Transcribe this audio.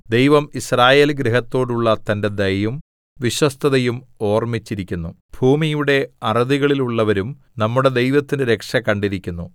ദൈവം യിസ്രായേൽഗൃഹത്തോടുള്ള തന്റെ ദയയും വിശ്വസ്തതയും ഓർമ്മിച്ചിരിക്കുന്നു ഭൂമിയുടെ അറുതികളിലുള്ളവരും നമ്മുടെ ദൈവത്തിന്റെ രക്ഷ കണ്ടിരിക്കുന്നു